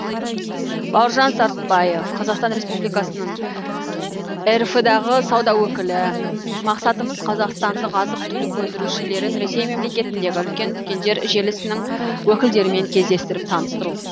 бауыржан сартбаев қазақстан республикасының рф дағы сауда өкілі мақсатымыз қазақстандық азық түлік өндірушілерін ресей мемлекетіндегі үлкен дүкендер желісінің өкілдерімен кездестіріп таныстыру